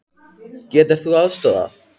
Getur þú aðstoðað?